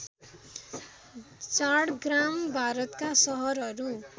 झाडग्राम भारतका सहरहरू